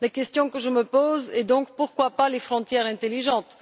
La question que je me pose est donc pourquoi pas les frontières intelligentes?